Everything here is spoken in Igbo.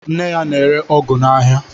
Nne ya na-ere ọgụ n'aha.